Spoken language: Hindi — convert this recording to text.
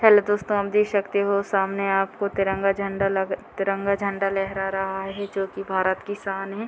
हेल्लो दोस्तों आप देख सकते हो सामने आपको तिरंगा झंडा लग तिरंगा झंडा लहरा रहा हैं जो की भारत की शान है।